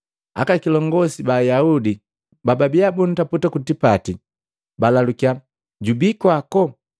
Aka kilongosi ba Ayaudi babiya bukuntaputa mtipati, balalukiya, “Jubi kwako?”